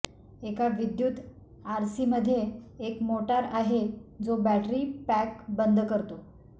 एका विद्युत आरसीमध्ये एक मोटार आहे जो बॅटरी पॅक बंद करतो